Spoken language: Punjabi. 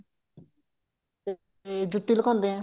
ਜੁੱਤੀ ਲਕੋਂਦੇ ਆ